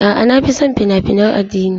A'a, na fi son fina-finan addini.